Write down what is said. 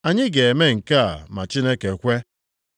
Anyị ga-eme nke a ma Chineke kwe.